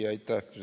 Aitäh!